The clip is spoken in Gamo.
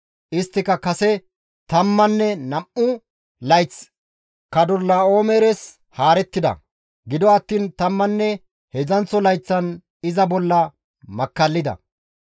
Istti kase tammanne nam7u layth Kadorlaa7oomeres haarettida; gido attiin tammanne heedzdzanththo layththan iza bolla makkallida.